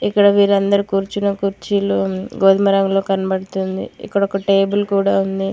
ఇక్కడ వీరందరూ కూర్చున్న కుర్చీలో గోధుమ రంగులో కనబడుతుంది ఇక్కడ ఒక టేబుల్ కూడా ఉంది.